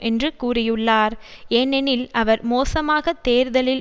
என்று கூறியுள்ளார் ஏனெனில் அவர் மோசமாகத் தேர்தலில்